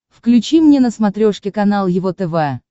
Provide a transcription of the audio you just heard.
включи мне на смотрешке канал его тв